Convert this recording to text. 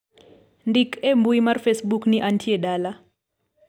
ndik e mbui mar facebook ni antie dala